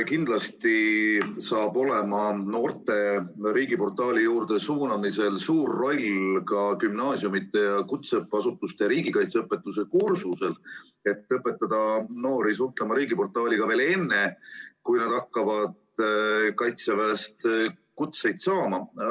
Kindlasti saab noorte riigiportaali juurde suunamisel olema suur roll ka gümnaasiumide ja kutseõppeasutuste riigikaitseõpetuse kursusel, et õpetada noori suhtlema riigiportaaliga veel enne, kui nad hakkavad Kaitseväelt kutseid saama.